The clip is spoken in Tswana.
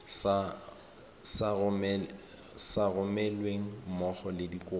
sa romelweng mmogo le dikopo